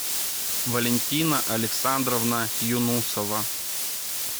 валентина александровна юнусова